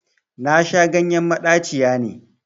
Nasha ganyen maɗaciya ne